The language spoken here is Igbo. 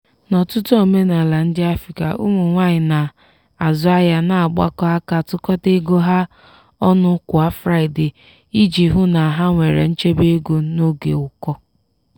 n'ọtụtụ omenala ndị africa ụmụ nwanyị na-azụ ahịa na-agbakọ aka tụkọta ego ha ọnụ kwa fraịde iji hụ na ha nwere nchebe ego n'oge ụkọ.